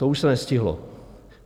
To už se nestihlo.